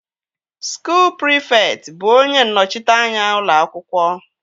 Skuul prịfekt bụ onye nnọchiteanya ụlọ akwụkwọ